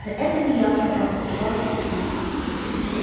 да это не я сказал испугался сергей